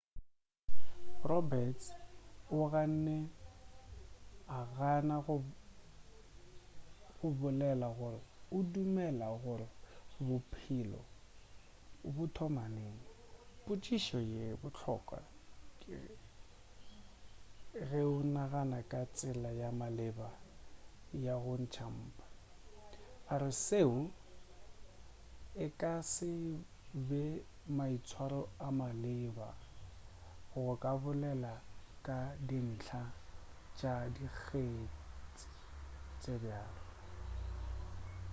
roberts o ganne go gana go bolela gore o dumela gore bophelo bo thoma neng potšišo ye bohlokwa ge o nagana ka tsela ya maleba ya go ntšhwa ga mpa a re seo e ka se be maitshwaro a maleba go ka bolela ka dintlha tša dikgetsi tše bjalo